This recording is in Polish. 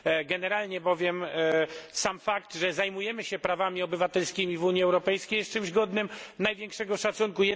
Generalnie bowiem sam fakt, że zajmujemy się prawami obywatelskimi w Unii Europejskiej jest czymś godnym największego szacunku.